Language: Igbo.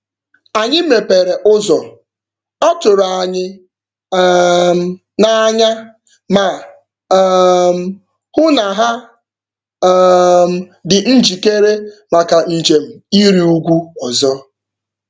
Anyị mepere ụzọ, ọ tụrụ anyị um n'anya, ma um hụ na ha um dị njikere maka njem ịrị ugwu ọzọ.